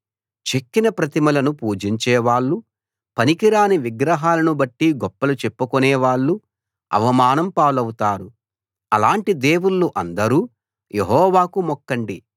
చెక్కిన ప్రతిమలను పూజించేవాళ్ళు పనికిరాని విగ్రహాలను బట్టి గొప్పలు చెప్పుకునే వాళ్ళు అవమానం పాలవుతారు అలాటి దేవుళ్ళు అందరూ యెహోవాకు మొక్కండి